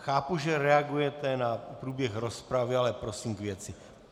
Chápu, že reagujete na průběh rozpravy, ale prosím k věci.